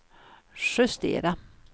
justera